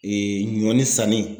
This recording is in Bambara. ɲɔni sanni.